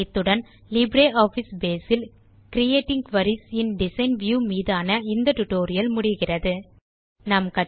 இத்துடன் லிப்ரியாஃபிஸ் Baseஇல் creating queries in design view மீதான இந்த ஸ்போக்கன் டியூட்டோரியல் முடிகிறது